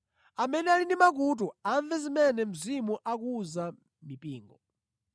Amene ali ndi makutu, amve zimene Mzimu akuwuza mipingo.’ ”